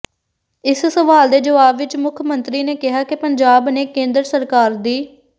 ਇਸ ਸਵਾਲ ਦੇ ਜਵਾਬ ਵਿੱਚ ਮੁੱਖ ਮੰਤਰੀ ਨੇ ਕਿਹਾ ਕਿ ਪੰਜਾਬ ਨੇ ਕੇਂਦਰ ਸਰਕਾਰ ਦੀ